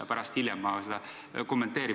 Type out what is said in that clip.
Ma pärast ka seda kommenteerin.